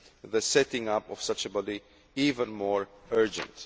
the setting up of such a body even more urgent.